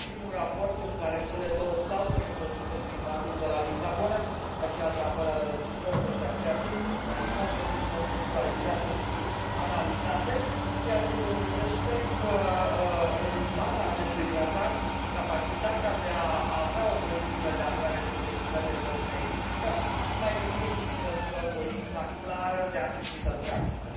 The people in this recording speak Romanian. Este primul raport în care cele două clauze introduse prin Tratatul de la Lisabona, aceea de apărare reciprocă și aceea de solidaritate, sunt conceptualizate și analizate, ceea ce dovedește că, în baza acestui tratat, capacitatea de a avea o politică de apărare și de securitate comună există, numai că nu există încă voința clară de a fi pusă în practică.